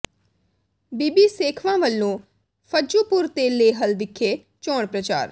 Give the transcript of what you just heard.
ਬੀਬੀ ਸੇਖਵਾਂ ਵੱਲੋਂ ਫੱਜੂਪੁਰ ਤੇ ਲੇਹਲ ਵਿਖੇ ਚੋਣ ਪ੍ਰਚਾਰ